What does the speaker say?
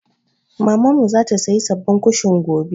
Mamanmu za ta sayi sababbin kushin.